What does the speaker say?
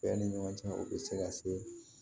Cɛ ni ɲɔgɔn cɛ o bɛ se ka se